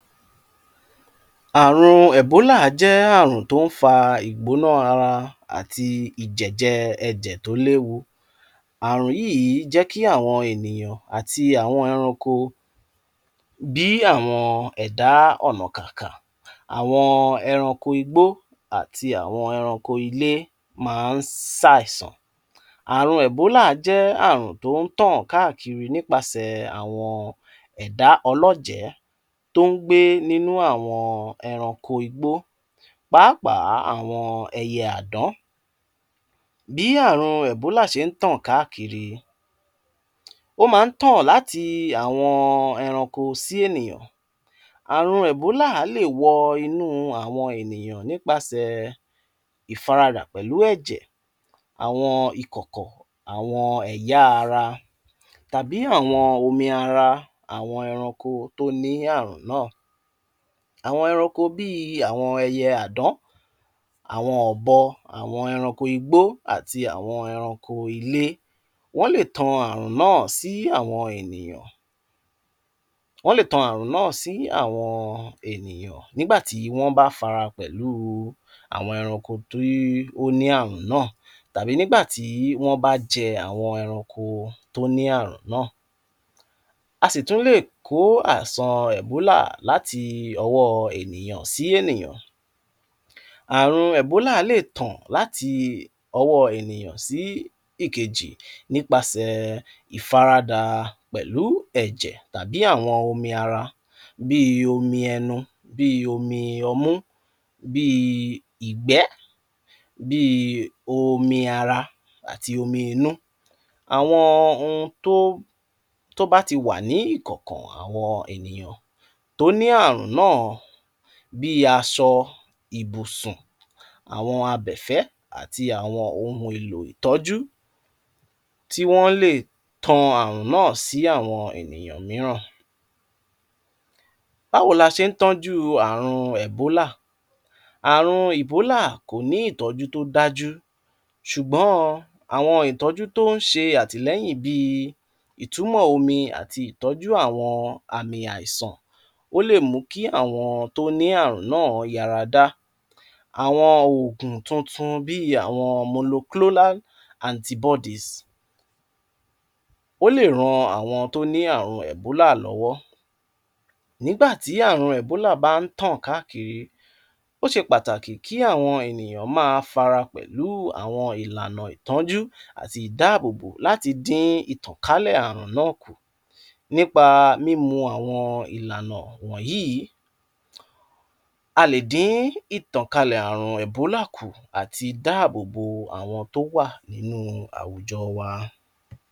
Ààrùn Èbóolà à jẹ́ ààrùn tó ń fa igbóná ara àti ìjẹ̀jẹ̀ ẹ̀jẹ̀ tó léwu. Ààrùn yìí jẹ́ kí àwọn ènìyàn àti àwọn ẹranko bíi àwọn ẹ̀dá ọ̀nà k'ààkà, àwọn ẹranko igbó àti àwọn ẹranko ilé máa ń sá ẹ̀sàn. Ààrùn Èbóolà à jẹ́ ààrùn tó ń tàn káàkiri nípasẹ̀ àwọn ẹ̀dá ọlọ́jẹ tó ń gbé nínú àwọn ẹranko igbó, pàápàá àwọn ẹyẹ àádán. Bí ààrùn Èbóolà ṣe ń tàn káàkiri, ó máa ń tàn láti àwọn ẹranko sí ènìyàn. Ààrùn Èbóolà a lè wọ inú àwọn ènìyàn nípasẹ̀ ìfaradà pẹ̀lú ẹ̀jẹ̀, àwọn ikọ̀kọ̀, àwọn ẹ̀yà ara tàbí àwọn omi ara àwọn ẹranko tó ní ààrùn náà. Àwọn ẹranko bíi àwọn ẹyẹ àádán, àwọn ọ̀bọ, àwọn ẹranko igbó àti àwọn ẹranko ilé wọ́n lè tan ààrùn náà sí àwọn ènìyàn. Wọ́n lè tan ààrùn náà sí àwọn ènìyàn nígbà tí wọ́n bá fara pẹ̀lú àwọn ẹranko tó ní ààrùn náà tàbí nígbàtí wọ́n bá jẹ àwọn ẹranko tó ní ààrùn náà. A sì tún lè kó àìsàn Èbóolà láti ọwọ́ ènìyàn sí ènìyàn. Ààrùn Èbóolà lè tàn láti ọwọ́ ènìyàn sí ìkejì nípasẹ̀ ìfaradà pẹ̀lú ẹ̀jẹ̀ tàbí àwọn omi ara bíi omi ẹnu, bíi omi ọmú, bíi ìgbẹ, bíi omi ara àti omi inú. Àwọn ohun tó bá ti wà ní ikọ̀kàn àwọn ènìyàn tó ní ààrùn náà, bíi aṣọ ìbùsùn, àwọn abẹ́ẹ́fẹ́ àti àwọn ohun èlò ìtọ́jú, wọ́n lè tàn ààrùn náà sí àwọn ènìyàn mìíràn. Báwo la ṣe ń tánjú ààrùn Èbóolà? Ààrùn Èbóolà kò ní ìtọju tó dájú, ṣùgbọ́n àwọn ìtọju tó ń ṣe àtilẹ́yìn bíi ìtumọ̀ omi àti ìtọju àwọn àmì àìsàn. Ó lè mú kí àwọn tó ní ààrùn náà yàràdá. Àwọn òògùn tuntun bíi àwọn monoclonal antibodies ó lè ràn àwọn tó ní ààrùn Èbóolà lọwọ. Nígbàtí ààrùn Èbóolà bá ń tàn káàkiri, ó ṣe pàtàkì kí àwọn ènìyàn má fara pẹ̀lú, kí wọ́n sì tẹ̀lé àwọn ìlànà ìtánjú àti ìdábòbò láti dín ìtànkálẹ̀ ààrùn náà kù. Nípa mímú àwọn ìlànà wọ̀nyí, a lè dín ìtànkálẹ̀ ààrùn Èbóolà kù, àti dábòbò àwọn tó wà nínú àwùjọ wa.